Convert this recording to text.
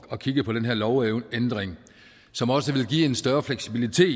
at kigge på den her lovændring som også vil give en større fleksibilitet